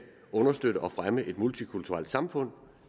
understøtte og fremme et multikulturelt samfund